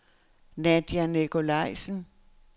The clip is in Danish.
Nadja Nicolajsen